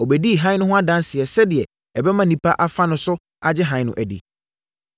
Ɔbɛdii hann no ho adanseɛ sɛdeɛ ɛbɛma nnipa afa ne so agye hann no adi.